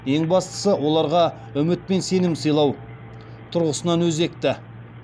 ең бастысы оларға үміт пен сенім сыйлау тұрғысынан өзекті